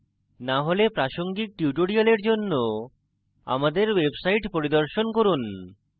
না হলে প্রাসঙ্গিক tutorial জন্য আমাদের website পরিদর্শন করুন